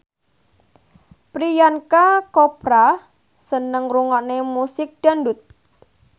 Priyanka Chopra seneng ngrungokne musik dangdut